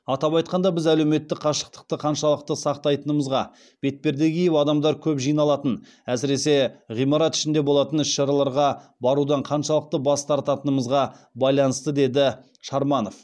атап айтқанда біз әлеуметтік қашықтықты қаншалықты сақтайтынымызға бетперде киіп адамдар көп жиналатын әсіресе ғимарат ішінде болатын іс шараларға барудан қаншалықты бас тартатынымызға байланысты деді шарманов